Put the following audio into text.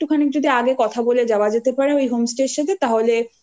খানি যদি আগে কথা বলে যাওয়া যেতে পারে ওই home stay র